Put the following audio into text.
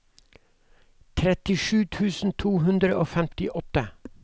trettisju tusen to hundre og femtiåtte